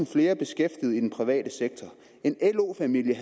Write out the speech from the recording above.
flere beskæftigede i den private sektor en lo familie